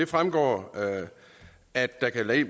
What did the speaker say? trækkere